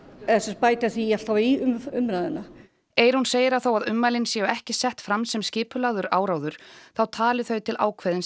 bæta því alltaf í umræðuna Eyrún segir að þó að ummælin séu ekki sett fram sem skipulagður áróður þá tali þau til ákveðins